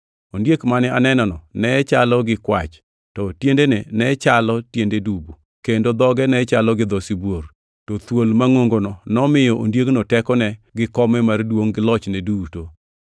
Ondiek mane anenono ne chalo gi kwach, to tiendene ne chalo tiende dubu, kendo dhoge ne chalo gi dho sibuor. To thuol mangʼongono nomiyo ondiegno tekone gi kome mar duongʼ gi lochne duto.